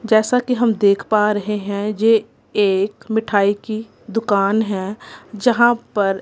जैसा कि हम देख पा रहे हैं जे एक मिठाई की दुकान है जहां पर--